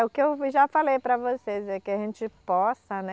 É o que eu já falei para vocês, é que a gente possa, né?